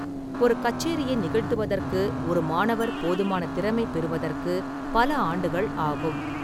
ஒரு கச்சேரியை நிகழ்த்துவதற்கு ஒரு மாணவர் போதுமான திறமை பெறுவதற்கு பல ஆண்டுகள் ஆகும்.